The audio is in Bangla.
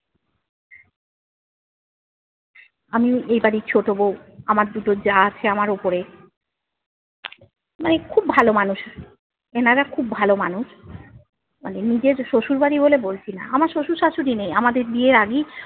আমিও এই বাড়ির ছোট বউ, আমার দুটো জা আছে আমার ওপরে মানে খুব ভালো মানুষ, এনারা খুব ভালো মানুষ, মানে নিজের শ্বশুরবাড়ি বলে বলছি না, আমার শ্বশুর শ্বাশুড়ি নেই, আমাদের বিয়ের আগেই-